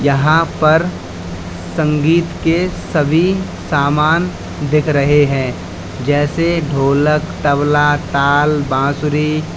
यहां पर संगीत के सभी समान दिख रहे हैं जैसे ढोलक तबला ताल बांसुरी--